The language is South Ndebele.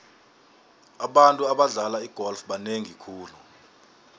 abantu abadlala igolf banengi khulu